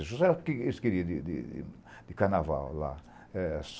Isso era o que eles queriam de carnaval lá.